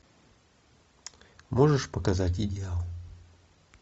можешь показать идеал